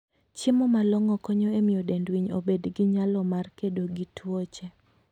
Chiemo malong'o konyo e miyo dend winy obed gi nyalo mar kedo gi tuoche.